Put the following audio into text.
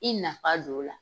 I nafa don o la.